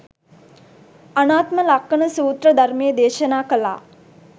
අනාත්ම ලක්ඛණ සූත්‍ර ධර්මය දේශනා කළා